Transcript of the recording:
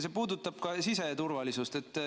See puudutab ka siseturvalisust.